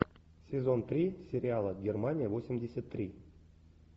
сезон три сериала германия восемьдесят три